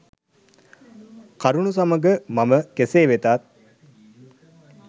කරුණු සමග මම කෙසේ වෙතත්